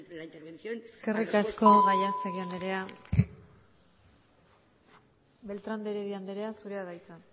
la intervención eskerrik asko gallastegui andrea beltrán de heredia andrea zurea da hitza